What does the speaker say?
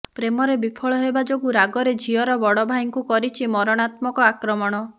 ପ୍ରେମରେ ବିଫଳ ହେବା ଯୋଗୁ ରାଗରେ ଝିଅର ବଡ଼ ଭାଇଙ୍କୁ କରିଛି ମରଣାତ୍ମକ ଆକ୍ରମଣ